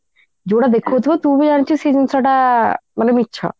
ଯୋଉଟା ଦେଖଉଥିବ ତୁ ବି ଜାଣିଛୁ ସେ ଜିନିଷ ଟା ମାନେ ମିଛ